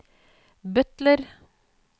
butler